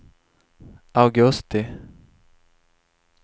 augusti